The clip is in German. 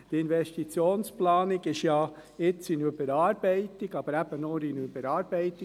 Die Investitionsplanung ist jetzt ja in Überarbeitung, aber eben nur in Überarbeitung.